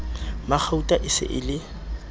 magauta e se e le